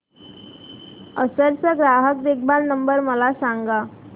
Acer चा ग्राहक देखभाल नंबर मला सांगा